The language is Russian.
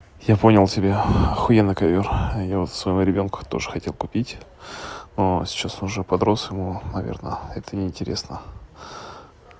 я понял тебя охуеный ковёр а я вот своему ребёнку тоже хотел купить но сейчас уже подрос ему наверно это неинтересно